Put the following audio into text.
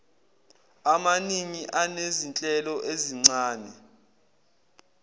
amaningi anezinhlelo ezincane